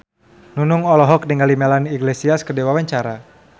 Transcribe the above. Nunung olohok ningali Melanie Iglesias keur diwawancara